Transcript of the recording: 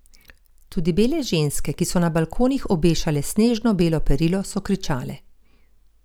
Tudi bele ženske, ki so na balkonih obešale snežno belo perilo, so kričale.